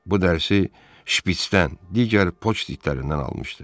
Bu dərsi şpitsdən, digər poçt itlərindən almışdı.